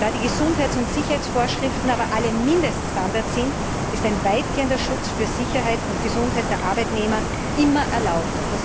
Da die Gesundheits und Sicherheitsvorschriften aber alle Mindeststandards sind, ist ein weitgehender Schutz für Sicherheit und Gesundheit der Arbeitnehmer immer erlaubt.